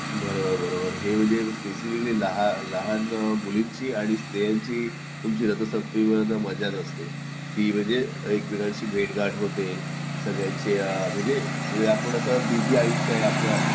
बरोबर बरोबर हे म्हणजे स्पेसिफिकली लहान मुलींना आणि स्त्रियांची तुमची रथसप्तमीपर्यंत मजाच असते की म्हणजे एकमेकांशी भेट गाठ होते सगळ्यांची म्हणजे आपलं बिझी आयुष्य आहे असं